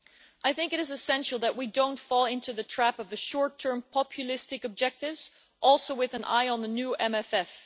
I think it is essential that we don't fall into the trap of the short term populistic objectives, also with an eye on the new MFF.